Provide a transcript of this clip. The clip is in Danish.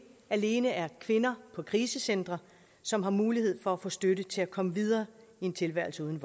alene er kvinder på krisecentre som har mulighed for at få støtte til at komme videre i en tilværelsen uden